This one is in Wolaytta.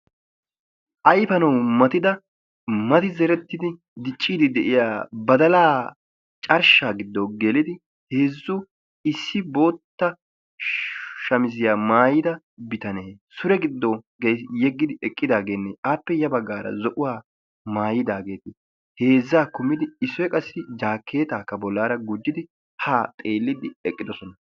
ayifanawu matida mati zerettidi dicciiddi de'iya badalaa carshshaa giddo gelidi heezzu issi bootta shamiziya maayida bitane sure giddo yeggidi eqqidaageenne appe ya baggaara zo'uwa mayidaageeti heezzaa kumidijaakkeetaakka bollaara gujjidi haa simmidi eqqidosona.